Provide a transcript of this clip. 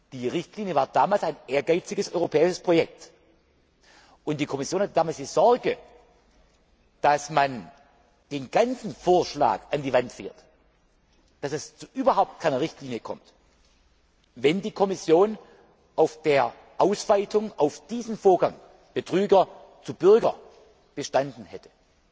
Die Richtlinie war damals ein ehrgeiziges europäisches Projekt, und die Kommission hatte damals die Sorge, dass man den ganzen Vorschlag an die Wand fährt, dass es zu überhaupt keiner Richtlinie kommt, wenn die Kommission auf der Ausweitung auf die Beziehung Betrüger Bürger bestanden hätte.